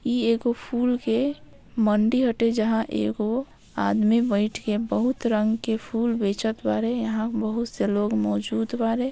इ एगो फूल के मंडी हटे जहाँ एगो आदमी बैठ के बहुत रंग के फूल बेचत बारे यहाँ बहुत से लोग मौजूद बारे।